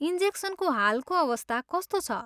इन्जेक्सनको हालको अवस्था कस्तो छ?